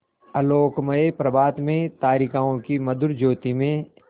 आलोकमय प्रभात में तारिकाओं की मधुर ज्योति में